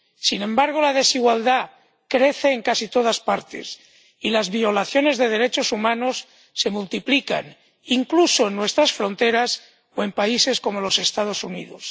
Sin embargo, la desigualdad crece en casi todas partes y las violaciones de derechos humanos se multiplican, incluso en nuestras fronteras o en países como los Estados Unidos.